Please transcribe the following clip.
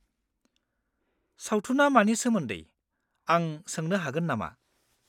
-सावथुनआ मानि सोमोन्दै, आं सोंनो हागोन नामा?